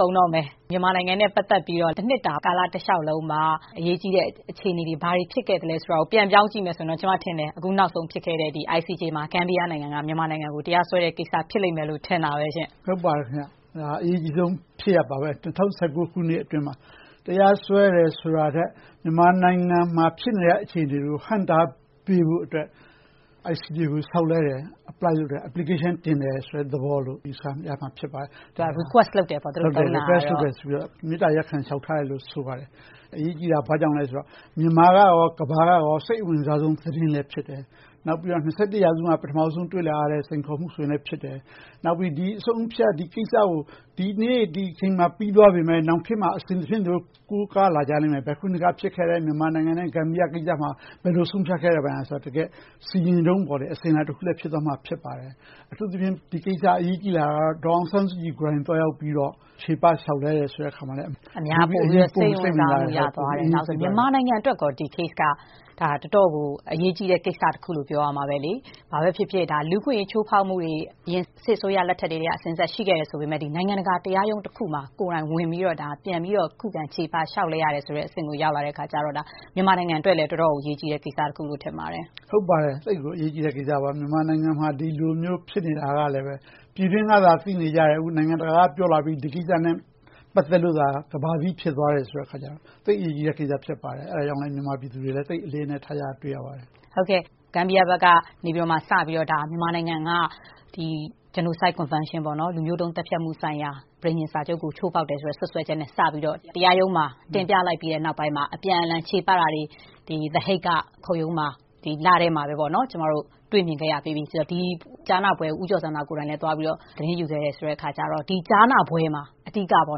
ကုန်တော့မယ်။ မြန်မာနိုင်ငံနဲ့ ပတ်သက်လို့ တနှစ်တာကာလတလျှောက်လုံးမှာ အရေးကြီးတဲ့ အခြေအနေတွေ ဘာတွေဖြစ်ခဲ့သလဲဆိုတာကို ပြန်ပြောင်းကြည့်မယ်ဆိုရင် ကျမထင်တယ် အခုနောက်ဆုံး ဖြစ်ခဲ့တဲ့ ICJ မှာ ဂမ်ဘီယာနိုင်ငံက မြန်မာနိုင်ငံကို တရားစွဲတဲ့ကိစ္စ ဖြစ်လိမ့်မယ်လို့ ကျမ ထင်တယ်။ ဟုတ်ပါတယ်။ အရေးကြီးဆုံး ဖြစ်ရပ်ပါပဲ။ ၂၀၁၉ ခုနှစ်အတွင်းမှာ တရားစွဲတယ်ဆိုတာထက်၊ မြန်မာနိုင်ငံမှာ ဖြစ်နေတဲ့အခြေအနေတွေကို ဟန့်တားပေးဖို့အတွက် ICJ ကို လျှောက်လွှဲတယ်။ Application တင်တယ်ဆိုတဲ့ သဘောလို့ ယူဆရမှာ ဖြစ်ပါတယ်။ Request လုပ်တယ်ပေါ့ - သူတို့သုံးတဲ့ အသုံးအနှုန်းက။ ဟုတ်ပါတယ်။ မေတ္တာရပ်ခံလျှောက်ထားတယ်လို့ ဆိုပါတယ်။ အရေးကြီးတာ ဘာကြောင့်လဲဆိုတော့ မြန်မာနဲ့ ကမ္ဘာက စိတ်ဝင်စားဆုံး သတင်းလည်း ဖြစ်တယ်။ နောက်ပြီးတော့ ရာစုမှာ ပထမဦးဆုံး တွေ့လာရတဲ့ စိန်ခေါ်မှုဆိုလဲ ဖြစ်တယ်။ နောက် ဒီအဆုံးအဖြတ် ဒီကိစ္စကို ဒီနေ့ဒီအချိန်မှာ ပြီးသွားခဲ့ပေမယ့် နောက်ခေတ်မှာ အစဉ်တဖြင့် ကိုးကားလာကြလိမ့်မယ် ဘယ်ခုနှစ်က ဖြစ်ခဲ့တယ် - မြန်မာနိုင်ငံနဲ့ ဂမ်ဘီယာကိစ္စမှာ ဘယ်လိုဆုံးဖြတ်ခဲ့ကြတယ်ဆိုတဲ့ စီရင်ထုံး အစဉ်အလာတခုလည်း ဖြစ်သွားမှာ ဖြစ်ပါတယ်။ အထူးသဖြင့် ဒီကိစ္စ အရေးကြီးလာတာက ဒေါ်အောင်ဆန်းစုကြည်ကိုယ်တိုင် သွားရောက်ပြီးတော့ ချေပလျှောက်လဲတယ်ဆိုတော့ အများက ပိုပြီးတော့ စိတ်ဝင်စားကြတယ်။ မြန်မာနိုင်ငံအတွက် ဒီ Case က တော်တော်လေးကို အရေးကြီးတဲ့ကိစ္စတခုလို့ ပြောရမှာပဲ။ ဘာပဲဖြစ်ဖြစ် လူ့အခွင့်အရေး ချိုးဖောက်မှုတွေ အရင်စစ်အစိုးရလက်ထက်ကတည်းက အစဉ်အဆက် ရှိခဲ့တယ်ဆိုပေမယ့် နိုင်ငံတကာတရားရုံးတခုမှာ ကိုယ်တိုင်ဝင်ပြီးတော့ ပြန်ပြီးတော့ ခုခံချေပလျှောက်လဲရတယ်ဆိုတဲ့ အဆင့်ကိုရောက်လာတော့ မြန်မာနိုင်ငံအတွက်လည်း သိပ်ပြီးတော့ အရေးကြီးတဲ့ကိစ္စတရပ်လို့ ထင်ပါတယ်။ ဟုတ်ပါတယ်။ သိပ်ကိုအရေးကြီးတဲ့ ကိစ္စတခုပါ။ မြန်မာနိုင်ငံမှာ ဒီလိုမျိုး ဖြစ်နေတာလဲ ပြည်တွင်းကသာ သိနေကြတယ်။ အခု နိုင်ငံတကာက ပြောလာကြပြီ ဒီကိစ္စနဲ့ ပတ်သက်လို့သာ ကမ္ဘာသိ ဖြစ်သွားကြတယ်ဆိုတော့ သိပ်အရေးကြီးတဲ့ကိစ္စ ဖြစ်ပါတယ်။ အဲဒါကြောင့်လဲ မြန်မာပြည်သူတွေလည်း အလေးအနက်ထားကြတာကို တွေ့ရပါတယ်။ ဂမ်ဘီယာဘက်ကနေ စပြီးတော့ မြန်မာနိုင်ငံအနေနဲ့ Genocide Convention လူမျိုးတုန်းသတ်ဖြတ်မှုဆိုင်ရာစာချုပ်ကို ချိုးဖောက်တယ်ဆိုတဲ့ စွပ်စွဲချက်နဲ့ တရားရုံးမှာ တင်ပြလိုက်ပြီးနောက်ပိုင်းမှာ အပြန်အလှန်ချေပတာတွေ The Hague က ခုံရုံးမှာ ကျမတို့ တွေ့မြင်ခဲ့ရပြီးပြီ။ ဒီကြားနာပွဲကို ဦးကျော်ဇံသာကိုယ်တိုင် သွားရောက်ပြီးတော့ သတင်းယူခဲ့တယ်ဆိုတော့ ဒီကြားနာပွဲမှာ အဓိက သူ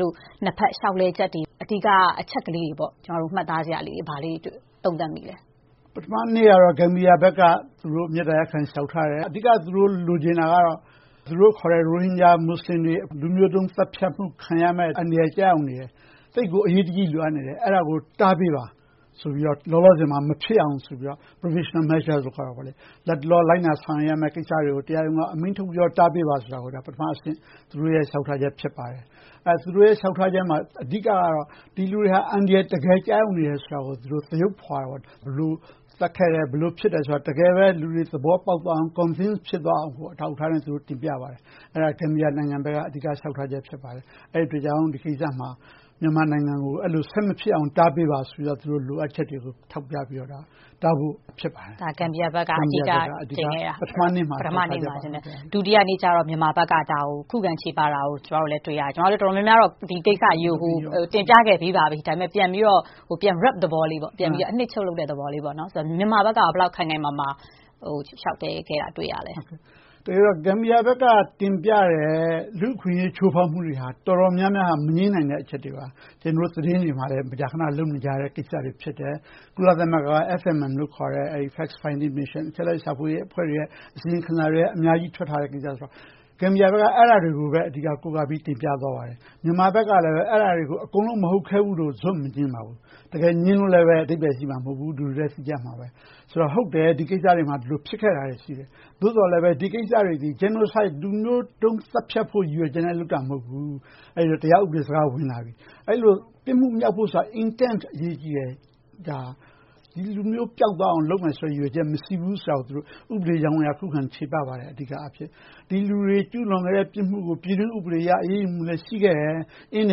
တို့နှစ်ဘက် လျှောက်လဲချက်တွေ။ အဓိက အချက်ကလေးတွေ၊ မှတ်သားစရာလေးတွေ ဘာတွေသုံးသပ်မိပါလဲ။ ပထမနေ့မှာတော့ ဂမ်ဘီယာဘက်က မေတ္တာရပ်ခံ လျှောက်ထားတယ်။ အဓိက သူတို့လိုချင်တာကတော့ သူတို့ခေါ်တဲ့ ရိုဟင်ဂျာမူဆလင်တွေ လူမျိုးတုန်းသတ်ဖြတ်မှု ခံရမယ့်အန္တရာယ် ကျရောက်နေတယ်။ သိပ်ကိုအရေးတကြီး လိုအပ်နေတယ်။ အဲဒါကို တားမြစ်ပေးပါဆိုပြီး လောလောဆယ်မှာ မဖြစ်အောင်ဆိုပြီး Provisional Measures ခေါ်တဲ့ လတ်တလော လိုက်နာဆောင်ရွက်ရမယ့် ကိစ္စတွေကို တရားရုံးက အမိန့်ထုတ်ပြီး တားမြစ်ပေးပါဆိုတာကို ပထမအဆင့် သူတို့ရဲ့ လျှောက်ထားချက် ဖြစ်ပါတယ်။ သူတို့ရဲ့ လျှောက်ထားချက်မှာ အဓိကတော့ ဒီလူတွေဟာ အန္တရာယ် တကယ်ကျရောက်နေတယ်ဆိုတာကို သရုပ်ဖော်တင်ပြကြတယ်။ ဘယ်လိုသတ်ခဲ့တယ်။ ဘယ်လို ဖြစ်တယ်ဆိုတာကို တကယ်ပဲ လူတွေသဘောပေါက်သွားအောင် Convince ဖြစ်သွားအောင် တင်ပြကြပါတယ်။ အဲဒါ ဂမ်ဘီယာနိုင်ငံဘက်က အဓိကလျှောက်ထားချက် ဖြစ်ပါတယ်။ အဲဒီအတွက်ကြောင့် ဒီကိစ္မှ မြန်မာနိုင်ငံကို အဲဒီလို ဆက်မဖြစ်အောင် တားမြစ်ပေးပါဆိုပြီးတော့ လိုအပ်ချက်တွေကို ထောက်ပြပြီးတော့ တားဖို့တောင်းဆိုပါတယ်။ ဒါက ဂမ်ဘီယာဘက်က အဓိကတင်ပြခဲ့တာ။ ဒုတိယနေ့ကြတော့ မြန်မာဘက်က ဒါကို ခုခံချေပတာကို ကျမတို့လည်း တွေ့ရတယ်။ ကျမတို့ တော်တော်များများကတော့ ဟိုကိစ္စကြီးကို တင်ပြခဲ့ပြီးပါပြီ။ ဒါပေမဲ့ ပြန်ပြီးတော့ အနှစ်ချုပ်လုပ်တဲ့သဘော ဖြစ်ပါတယ်။ မြန်မာဘက်က ဘယ်လောက်ခိုင်ခိုင်မာမာ လျှောက်လွှဲခဲ့တာကို တွေ့ရပါလဲ။ တကယ်တော့ ဂမ်ဘီယာဘက်က တင်ပြတဲ့ လူ့အခွင့်အရေး ချိုးဖောက်မှုတွေ တော်တော်များများဟာ မငြင်းနိုင်တဲ့ အချက်တွေပါ။ ကျနော်တို့ သတင်းတွေမှာလဲ မကြာခဏ လုပ်နေကြတဲ့ ကိစ္စတွေ ဖြစ်တယ်။ ကုလသမဂ္ဂက FFM လို့ခေါ်တဲ့ Factfinding Mission အချက်အလက် ရှာဖွေရေးအဖွဲ့တွေရဲ့ အစီရင်ခံစာတွေလည်း အများကြီးထွက်ထားတဲ့ ကိစ္စဆိုတော့ ဂမ်ဘီယာဘက်က အဲဒါတွေပဲ အဓိကကိုးကားပြီး တင်ပြသွားပါတယ်။ မြန်မာနိုင်ငံဘက်ကလည်း အဲဒါတွေကို အကုန်လုံးမဟုတ်ဘူးလို့ ဇွတ်မငြင်းပါဘူး။ တကယ်ငြင်းလို့လဲ အဓိပ္ပယ်ရှိမှာ မဟုတ်ဘူးလို့ သိကြမှာပါ။ ဆိုတော့ ဟုတ်တယ် ဒီကိစ္စတွေမှာ ဖြစ်ခဲ့တာတွေ ရှိတယ်။ သို့သော်လဲ ဒီကိစ္စတွေသည် Genocide လူမျိုးတုန်းသတ်ဖြတ်ဖို့ ရည်ရွယ်ချက်နဲ့ လုပ်တာမဟုတ်ဘူး။ အဲဒီတော့ တရားဥပဒေ စကားက ဝင်လာပြီ။ ပြစ်မှုပြီမြောက်ဖို့ဆိုတာ Intent ဆိုတာ အရေးကြီးတယ်။ ဒီလူမျိုးပျောက်သွားအောင် လုပ်မယ်ဆိုတဲ့ ရည်ရွယ်ချက် မရှိဘူးဆိုတာ ဥပဒေအကြောင်းအရ ခုခံချေပသွားပါတယ်။ အဓိကအားဖြင့်။ ဒီလူတွေ ကျူးလွန်ခဲ့တဲ့ ပြစ်မှုကို ပြည်တွင်းဥပဒေအရ အရေးယူမှု ရှိခဲ့တယ်။ အင်ဒ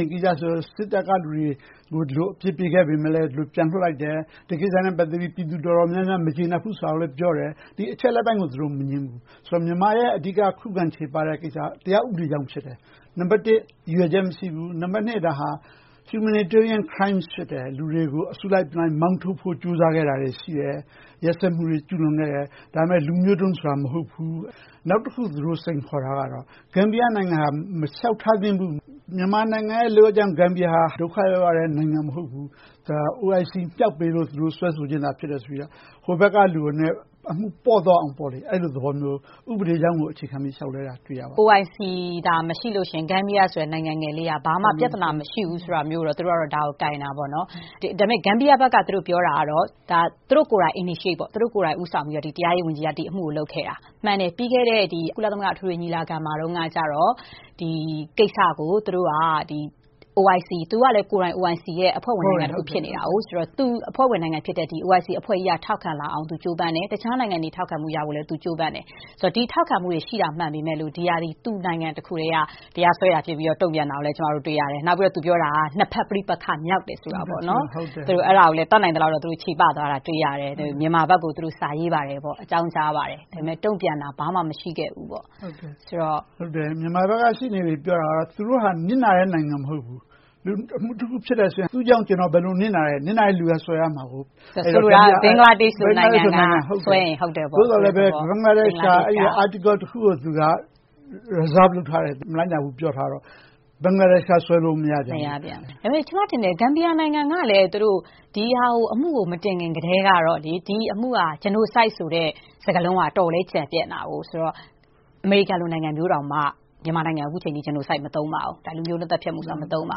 င်းကိစ္စဆိုရင် စစ်တပ်က လူတွေကို အပြစ်ပေးခဲ့ပေမယ့် ပြန်လွှတ်လိုက်တယ်။ ဒီကိစ္စနဲ့ ပတ်သက်ပြီး ပြည်သူတော်တော်များများ မကျေနပ်ဘူးဆိုတာလဲ ပြောတယ်။ အချက်အလက်ပိုင်းကို သူတို့မငြင်းဘူး။ မြန်မာရဲ့ အဓိက ခုခံချေပတဲ့ကိစ္စက တရားဥပဒေကြောင့် ဖြစ်တယ်။ ရည်ရွယ်ချက် မရှိဘူး။ ဒါဟာ Humanitarian Crime ဖြစ်တယ်။ လူတွေကို အစုလိုက်အပြုံလိုက် မောင်းထုတ်ခဲ့တာတွေ ရှိတယ်။ ရက်စက်မှုတွေ ကျူးလွန်ခဲ့တယ်။ ဒါပေမဲ့ လူမျိုးတုန်းဆိုတာ မဟုတ်ဘူး။ နောက်တခု စိန်ခေါ်တာကတော့ ဂမ်ဘီယာနိုင်ငံဟာ မလျှောက်ထားသင့်ဘူး။ မြန်မာနိုင်ငံကြောင့် ဂမ်ဘီယာနိုင်ငံဟာ ဒုက္ခရောက်တဲ့ နိုင်ငံမဟုတ်ဘူး။ OIC မြှောက်ပေးလို့ သူတို့ စွဲဆိုခြင်းသာ ဖြစ်တယ်လို့ ဟိုဘက်ကလူက အမှုနည်းနည်းပေါ့သွားအောင် အဲဒီလိုသဘောမျိုး ဥပဒေကြောင်းကို အခြေခံပြီး လျှောက်လွှဲတာကို တွေ့ရပါတယ်။ OIC သာ မရှိလို့ရှိရင် ဂမ်ဘီယာဆိုတဲ့ နိုင်ငံငယ်လေးက ဘာမှပြဿနာ မရှိဘူးဆိုတာကို သူတို့က ကိုင်ပြောတယ်။ ဒါပေမဲ့ ဂမ်ဘီယာဘက်က ပြောတာကတော့ သူတို့ကိုယ်တိုင် Initiate ဦးဆောင်ပြီးတော့ တရားရေးဝန်ကြီးက လုပ်ခဲ့တာ။ မှန်တယ်.. ပြီးခဲ့တဲ့ ကုလသမဂ္ဂအထွေထွေ ညီလာခံမှာတုန်းက ဒီကိစ္စကို သူတို့က OIC - ဂမ်ဘီယာက OIC အဖွဲ့ဝင်နိုင်ငံလည်း ဖြစ်နေတယ်ဆိုတော့ သူ့အဖွဲ့ဝင်နိုင်ငံဖြစ်တဲ့ OIC အဖွဲ့ကြီးက ထောက်ခံလာအောင် ကြိုးပမ်းတယ်။ တခြားနိုင်ငံတွေ ထောက်ခံမှုရအောင်လည်း ကြိုးပမ်းတယ်။ ဒီထောက်ခံမှုတွေရှိတာ မှန်ပေမယ့် ဒီဟာသည် သူ့နိုင်ငံတခုတည်းက တရားစွဲတာဖြစ်တယ်လို့ တုံ့ပြန်တာကိုလည်း ကျမတို့ တွေ့ရတယ်။ နောက် သူပြောတာက နှစ်ဘက်ပဋိပက္ခမြောက်တယ်ဆိုတာကို တတ်နိုင်သလောက် ချေပသွားတာကို တွေ့ရတယ်။ မြန်မာဘက်ကို သူတို့စာရေးပါတယ်။ အကြောင်းကြားပါတယ်။ ဒါပေမဲ့ တုံ့ပြန်တာ ဘာမှမရှိခဲ့ဘူးလို့ ပြောပါတယ်။ မြန်မာဘက်က ရှေ့နေတွေပြောတာက သူတို့ဟာ နစ်နာတဲ့နိုင်ငံ မဟုတ်ဘူး။ အမှုတခု ဖြစ်တယ်ဆိုရင် သူ့ကြောင့် ကျနော် ဘယ်လိုနစ်နာတယ်။ နစ်နာတဲ့လူက စွဲဆိုရမှာ။ ဆိုလိုတာက ဘင်္ဂလားဒေ့ရှ်က စွဲဆိုတယ်ဆိုရင် ဟုတ်တယ်ပေါ့။ ဟုတ်တယ်။ သို့သော်လဲပဲ ဘင်္ဂလားဒေ့ရှ်က article တခုကို သူက reserved လုပ်ထားတယ်။ မလိုက်နာဘူး ပြောထားတော့ ဘင်္ဂလားဒေ့ရှ်က စွဲလို့မရပြန်ဘူး။ ဒါပေမဲ့ ကျမထင်တယ် ဂမ်ဘီယာနိုင်ငံကလည်း ဒီအမှုကို မတင်ခင်ကတည်းက ဒီအမှုဟာ Genocide ဆိုတဲ့ စကားလုံးက အတော်လေးကျယ်ပြန့်တာဆိုတော့ အမေရိကန်နိုင်ငံလိုမျိုးတောင်မှ အခုအချိန်အထိ မြန်မာနိုင်ငံကို Genocide မသုံးပါဘူး။ လူမျိုးတုန်းသတ်ဖြတ်မှုဆိုတာ မသုံးပါ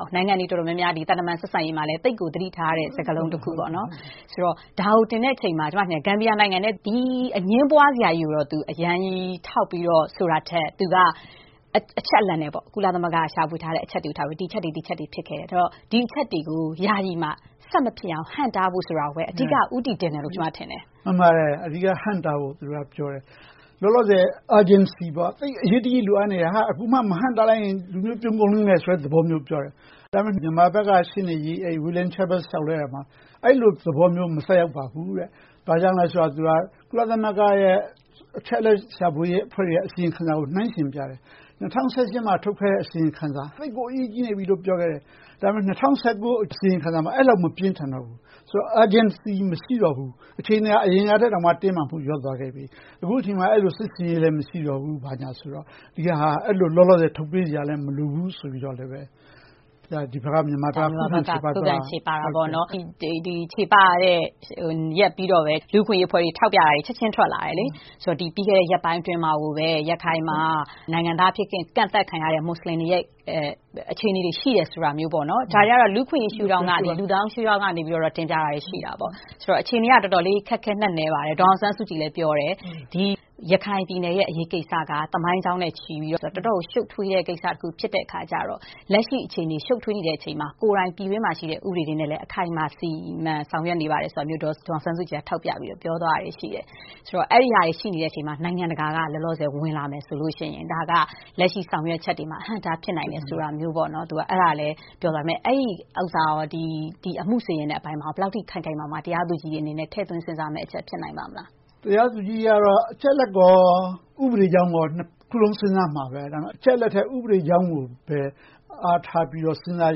ဘူး။ နိုင်ငံတွေတော်တော်များများ သံတမန်ဆက်ဆံရေးမှာလည်း သိပ်ကိုသတိထားရတဲ့ စကားလုံးတခုဆိုတော့ ဒါကိုတင်တဲ့အခါမှာ ဂမ်ဘီယာနိုင်ငံအနေနဲ့ ဒီအငြင်းပွားစရာကြီးကို သူ အရမ်းကြီးထောက်ပြီးဆိုတာထက် သူက အချက်အလက်နဲ့ ကုလသမဂ္ဂ ရှာဖွေထားတဲ့ အချက်တွေကို ထောက်ပြီးတော့ ဒီအချက်တွေ၊ ဟိုအချက်တွေ ဖြစ်ခဲ့တယ်။ ဒီအချက်တွေကို ယာယီမှာ ဆက်မဖြစ်အောင်၊ ဟန့်တားဖို့ဆိုတာကိုပဲ အဓိကဦးတည်တယ်လို့ ကျမ ထင်တယ်။ မှန်ပါတယ်။ အဓိကဟန့်တားဖို့ သူတို့က ပြောတယ်။ လောလောဆယ် Urgency သိပ်အရေးတကြီး လိုအပ်နေတာ၊ အခုမှ မဟန့်တားလိုက်ရင် လူမျိုးပြုန်းကုန်လိမ့်မယ်ဆိုတဲ့ သဘောကို ပြောတယ်။ ဒါပေမဲ့ မြန်မာဘက်က ရှေ့နေကြီး William Schabas က ပြောတယ် နှစ်ဘက်လျှောက်လွှဲရာမှာ - အဲဒီလိုသဘောမျိုး မသက်ရောက်ပါဘူး။ ဘာကြောင့်လဲဆိုတော့ ကုလသမဂ္ဂရဲ့ အချက်အလက်ရှာဖွေရေး အဖွဲ့တွေရဲ့ အစီရင်ခံစာကို နှိုင်းယှဉ်ပြတယ်။ ၂၀၀၈ မှာ ထုတ်ခဲ့တဲ့ အစီရင်ခံစာမှာ သိပ်ကိုအရေးကြီးနေပြီလို့ ပြောခဲ့တယ်။ ဒါပေမဲ့ ၂၀၁၉ အစီရင်ခံစာမှာ အဲဒီလောက် မပြင်းထန်တော့ဘူး။ ဆိုတော့ Urgency မရှိတော့ဘူး။ အခြေအနေက အရင်ကထက် တင်းမာမှုလျော့နည်းသွားခဲ့ပြီ။ အခုအချိန်မှာ အဲဒီလို စစ်ဆင်ရေးလည်း မရှိတော့ဘူးဆိုတော့ ဒီဟာက လောလောဆယ် ထုတ်ပေးစရာလည်း မလိုဘူးဆိုပြီးတော့ မြန်မာဘက်က ခုခံချေပတယ်။ ချေပတဲ့ရက်ပြီးတော့ လူ့အခွင့်အရေးအဖွဲ့တွေ ထောက်ပြတာတွေ ချက်ချင်းထွက်လာတယ်။ ပြီးခဲ့တဲ့ ရက်ပိုင်းအတွင်းမှာပဲ ရခိုင်မှာ နိုင်ငံသားအဖြစ် ကန့်သတ်ခံရတဲ့ မူဆလင်တွေရဲ့ အခြေအနေတွေ ရှိတယ်ဆိုတာမျိုး။ ဒါတွေကတော့ လူ့အခွင့်အရေးရှုထောင့်ကနေ တင်ပြတာတွေရှိတယ်။ ဆိုတော့ အခြေအနေက အတော်လေးခက်ခဲနက်နဲပါတယ်။ ဒေါ်အောင်ဆန်းစုကြည်လည်း ပြောတယ် - ဒီရခိုင်ပြည်နယ်ရဲ့ အရေးကိစ္စက သမိုင်းကြောင်းနဲ့ချီပြီး တော်တော်လေးကို ရှု့ပ်ထွေးတဲ့ကိစ္စဖြစ်တော့ လက်ရှိအခြေအနေ ရှုပ်ထွေးနေတဲ့အချိန်မှာ ကိုယ်တိုင်ပြည်တွင်းမှာရှိတဲ့ ဥပဒေတွေနဲ့ အခိုင်အမာ စီမံဆောင်ရွက်နေပါတယ်ဆိုတာမျိုး ဒေါ်အောင်ဆန်းစုကြည်က ထောက်ပြပြောဆိုသွားတာတွေ ရှိတယ်။ အဲဒါတွေ ရှိနေချိန်မှာ နိုင်ငံတကာက လောလောဆယ် ဝင်လာမယ်ဆိုရင် ဒါက လက်ရှိဆောင်ရွက်ချက်တွေမှာ အဟန့်အတား ဖြစ်နိုင်တယ်ဆိုတာမျိုးကိုလည်း ပြောသွားတယ်။ အဲဒီပြောဆိုချက်က အမှုစီရင်တဲ့အပိုင်းမှာ ဘယ်လောက်အထိ ခိုင်ခိုင်မာမာ တရားသူကြီးတွေအနေနဲ့ ထည့်သွင်းစဉ်းစားမယ့်အချက် ဖြစ်နိုင်ပါ့မလား။ တရားသူကြီးတွေကတော့ အချက်အလက်ကော၊ ဥပဒေကြောင်းကော နှစ်ခုစလုံး စဉ်းစားကြလိမ့်မယ်။ အချက်အလက်ထက် ဥပဒေကြောင်းကိုပဲ အားထားပြီးတော့ စဉ်းစား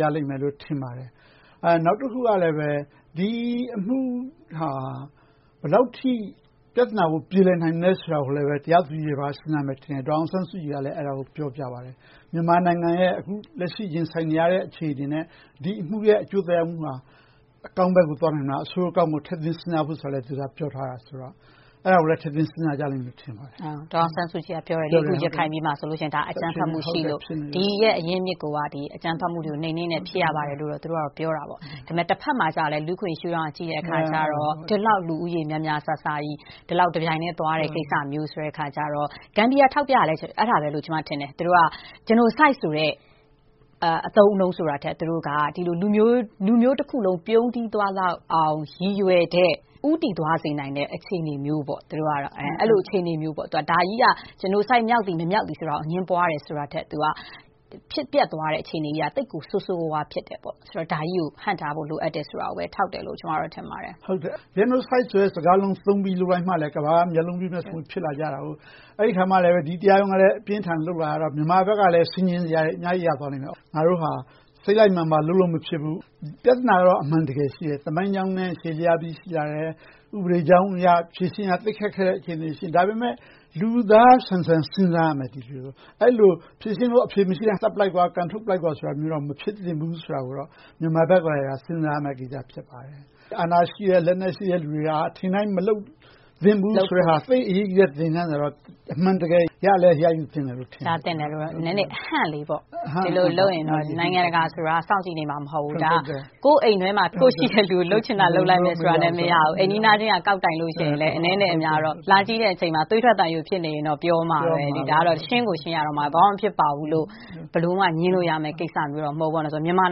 ကြလိမ့်မယ်လို့ ထင်ပါတယ်။ နောက်တစ်ခုကလဲ ဒီအမှုဟာ ဘယ်လောက်အထိ ပြဿနာကို ပြေလည်နိုင်မလဲဆိုတာကိုလည်း တရားသူကြီးတွေ စဉ်းစားမယ်ထင်တယ်။ ဒေါ်အောင်ဆန်းစုကြည်ကလည်း အဲဒါကို ပြောပြပါတယ်။ မြန်မာနိုင်ငံရဲ့ အခုလက်ရှိရင်ဆိုင်နေရတဲ့ အခြေအနေနဲ့ ဒီအမှုရဲ့ အကျိုးသက်ရောက်မှုဟာ အကောင်းဘက်ကို သွားနိုင်မလား။ အဆိုးအကောင်းကို ထည့်သွင်းစဉ်းစားဖို့ကို သူက ပြောဆိုခဲ့ပါတယ်။ အဲဒါတွေကိုလည်း ထည့်သွင်းစဉ်းစားကြမယ်လို့ ထင်ပါတယ်။ ဒေါ်အောင်ဆန်းစုကြည်ကပြောတယ် - အခု ရခိုင်ပြည်မှာဆိုရင် အကြမ်းဖက်မှုရှိလို့ အရင်းအမြစ်ကိုက အကြမ်းဖက်မှုတွေကို နှိမ်းနင်းလို့ ဖြစ်ရပါတယ်လို့ ပြောတယ်။ ဒါပေမဲ့ တဘက်မှာ လူ့အခွင့်အရေး ရှုထောင့်က ကြည့်တဲ့အခါကြတော့ ဒီလောက်လူဦးရေး များများစားစားကြီး ဒီလောက်တပြိုင်တည်း သွားတဲ့ကိစ္စမျိုးကြီး - ဂမ်ဘီယာ ထောက်ပြတာလဲ အဲဒါပဲလို့ ကျမ ထင်တယ်။ သူတို့က Genocide ဆိုတဲ့ အသုံးအနှုန်းဆိုတာထက် လူမျိုးတခုလုံး ပြုန်းတီးသွားလောက်အောင် ရည်ရွယ်တဲ့၊ ဦးတည်သွားစေတဲ့ အခြေအနေမျိုးဆိုပြီး ဒါကြီးက Genocide မြောက်သည်၊ မမြောက်သည်ဆိုတာကို အငြင်းပွားတာထက် ဖြစ်ပျက်သွားတဲ့ အခြေအနေကြီးက သိပ်ကိုဆိုးဆိုးဝါးဝါး ဖြစ်တယ်ပေါ့။ ဒါကြီးကို ဟန့်တားဖို့ လိုအပ်တယ်ဆိုတာပဲ ထောက်ပြတယ်လို့ပဲ ကျမ ထင်ပါတယ်။ Genocide ဆိုတဲ့ စကားလုံးသုံးပြီးမှပဲ ကမ္ဘာက မျက်လုံးပြူးကြမယ် ဖြစ်ပြီး၊ အဲဒီအခါကြမှလဲ ဒီတရားရုံးက အပြင်းအထန် လုပ်လာရတော့ မြန်မာဘက်ကလဲ ဆင်ခြင်စရာတွေ အများကြီးရသွားတာပေါ့။ ငါတို့ဟာ စိတ်လိုက်မာန်ပါ လုပ်လို့မဖြစ်ဘူး။ ပြဿနာကတော့ အမှန်တကယ် ရှိတယ်။ သမိုင်းကြောင်းနဲ့ ရှည်လျားပြီး ရှိလာခဲ့တယ်။ ဥပဒေကြောင်းအရ ဖြေရှင်းရ သိပ်ခက်ခဲတဲ့ အခြေအနေ ရှိတယ်။ ဒါပေမဲ့ လူသားဆန်ဆန် စဉ်းစားရမယ်။ အဲဒီလို ဖြေရှင်းဖို့ အဖြေမရှိဘူး၊ သတ်ပစ်လိုက်၊ ကန်ထုတ်လိုက်ပါဆိုတာမျိုး မဖြစ်သင့်ဘူးဆိုတာကိုတော့ မြန်မာဘက်က စဉ်းစားရမယ့်ကိစ္စ ဖြစ်ပါတယ်။ အာဏာရှိတဲ့၊ လက်နက်ရှိတဲ့ လူတွေက ထင်တိုင်းကြဲ မလုပ်သင့်ဘူးဆိုတဲ့ဟာက သိပ်အရေးကြီးတဲ့ သင်ခန်းစာပါ။ အမှန်တကယ် ရလည်းရယူသင့်တဲ့ သင်ခန်းစာပါ။ နည်းနည်းအဟန့်လေးပေါ့။ ဒီလိုလုပ်ရင် နိုင်ငံတကာဆိုတာ စောင့်ကြည့်နေမှာ မဟုတ်ဘူး။ ဒါက ကိုယ့်အိမ်တွင်းမှာ ကိုယ့်ရှိတဲ့လူကို လုပ်ချင်တာ လုပ်လိုက်မယ်ဆိုတာ မရဘူး။ အိမ်နီးနားချင်းက ကောက်တိုင်လို့ရှိရင် အနည်းနဲ့အများကတော့ လာကြည့်တဲ့အချိန်မှာ သွေးထွက်သံယိုးဖြစ်နေရင် ပြောမှာပဲ။ ဒါကတော့ ရှင်းကိုရှင်းရတော့မှာ - ဘာမှမဖြစ်ပါဘူးလို့ ဘယ်လိုမှ ငြင်းလို့မရတဲ့ကိစ္စမျိုး မဟုတ်ဘူး။ မြန်မာ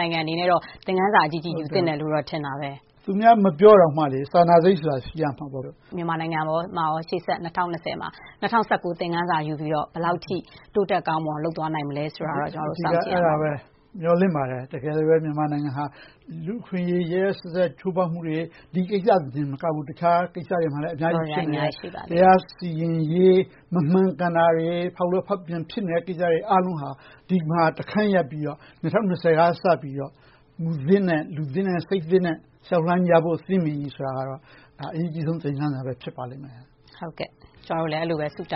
နိုင်ငံအနေနဲ့ သင်ခန်းစာအကြီးကြီး ယူသင့်တယ်လို့ ထင်တယ်။ သူများမပြောတောင်မှ စာနာစိတ်ကတော့ ရှိရမှာပေါ့။ မြန်မာနိုင်ငံအနေနဲ့ ရှေ့ဆက် ၂၀၂၀ မှာ ၂၀၁၉ သင်ခန်းစာကို ယူပြီးတော့ ဘယ်လောက်အထိ တိုးတက်ကောင်းမွန်အောင် လုပ်သွားနိုင်မလဲဆိုတာကို ကျမတို့ စောင့်ကြည့်ရမှာပေါ့။ မျှော်လင့်ပါတယ်။ တကယ်ပဲ မြန်မာနိုင်ငံဟာ လူ့အခွင့်အရေး ရက်ရက်စက်စက် ချိုးဖောက်မှုတွေ၊ ဒီကိစ္စတင်မကဘူး အခြားကိစ္စတွေမှာလည်း အများကြီး ဖြစ်နေတာတွေ ရှိပါတယ်။ တရားစီရင်ရေး မမှန်ကန်တာတွေ၊ ဖောက်လွဲဖောက်ပြန် ဖြစ်နေတဲ့ကိစ္စတွေ အားလုံးဟာ ဒီမှာတခန်းရပ်ပြီးတော့ ၂၀၂၀ က စပြီးတော့ မူသစ်နဲ့ လူသစ်၊ စိတ်သစ်နဲ့ လျှောက်လှမ်းကြဖို့ သင့်ပြီဆိုတာကတော့ အရေးကြီးဆုံး သင်ခန်းစာပဲ ဖြစ်ပါလိမ့်မယ်။ ကျမတို့လည်း အဲဒီလိုပဲ ဆုတော